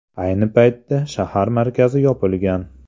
Ayni paytda shahar markazi yopilgan.